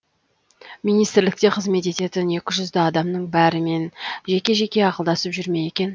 министрлікте қызмет ететін екі жүз адамның бәрімен жеке жеке ақылдасып жүр ме екен